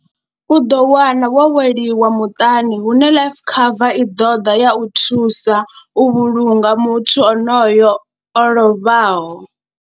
U ḓo wana wo weliwa muṱani hune life cover i ḓo ḓa ya u thusa u vhulunga muthu onoyo o lovhaho.